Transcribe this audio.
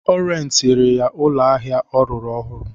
Ọ rentịrị ya ụlọ ahịa ọ rụrụ ọhụrụ.